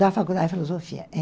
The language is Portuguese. Da faculdade de filosofia, é.